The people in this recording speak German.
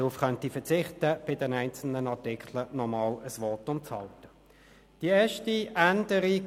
Wir befinden uns in einer freien Debatte, und es ist die zweite Lesung.